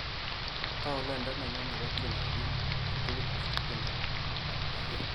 Tau lainda nenyu nebo tiendab biik eng tugul kosiir tyendo ni